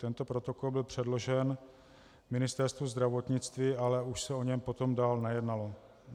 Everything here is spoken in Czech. Tento protokol byl předložen Ministerstvu zdravotnictví, ale už se o něm potom dál nejednalo.